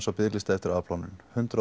á biðlista eftir afplánun hundrað